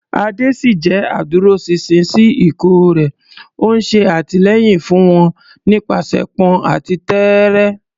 Ade ṣì jẹ́ adúróṣinṣin sí ikọ̀ rẹ̀, ó ń ṣe àtìlẹ́yìn fún wọn nípasẹ̀pọn àti tẹ́ẹ́rẹ́.